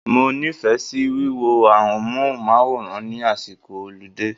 Mo nífẹ̀ẹ́ sí wíwo amóhùnmáwòrán ní àsìkò ọlidé.